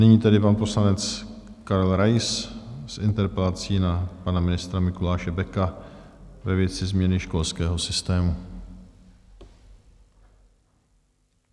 Nyní tedy pan poslanec Karel Rais s interpelací na pana ministra Mikuláše Beka ve věci změny školského systému.